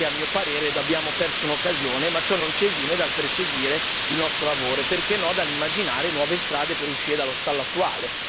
Ecco perché a mio parere abbiamo perso un'occasione, ma ciò non ci esime dal proseguire il nostro lavoro e, perché no, dall'immaginare nuove strade per uscire dallo stallo attuale.